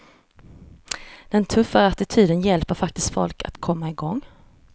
Den tuffare attityden hjälper faktiskt folk att komma igång.